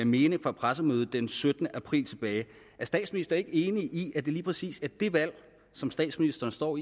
mening fra pressemødet den syttende april tilbage er statsministeren ikke enig i at det er lige præcis det det valg som statsministeren står